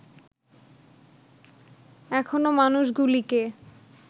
এখনো মানুষগুলিকে